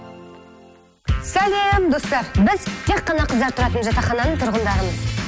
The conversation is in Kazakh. сәлем достар біз тек қана қыздар тұратын жатақхананың тұрғындарымыз